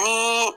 Ni